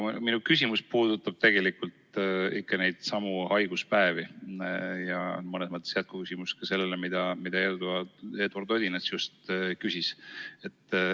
Minu küsimus puudutab ikka neidsamu haiguspäevi ja on mõnes mõttes jätkuküsimus sellele, mida Eduard Odinets just küsis.